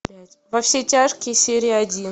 во все тяжкие серия один